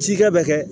Cikɛ bɛ kɛ